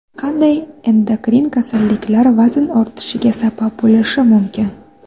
Qanday endokrin kasalliklar vazn ortishiga sabab bo‘lishi mumkin?